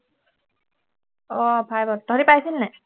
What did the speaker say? অ five ত তহঁতি পাইছিলি নাই